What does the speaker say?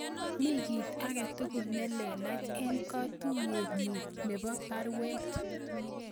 Mii kit agetugul nelelach en katuyet nyun nebo baruet